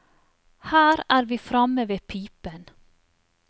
Her er vi framme ved pipen.